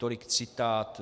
Tolik citát.